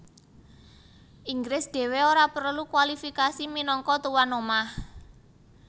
Inggris dhéwé ora prelu kwalifikasi minangka tuwan omah